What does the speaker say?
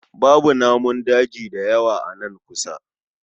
Babu namun daji da yawa a nan kusa